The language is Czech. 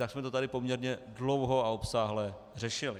Tak jsme to tady poměrně dlouho a obsáhle řešili.